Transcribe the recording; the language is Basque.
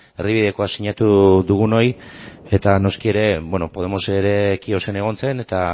erdibidekoa sinatu dugunoi eta noski ere podemos ere kiosen egon zen eta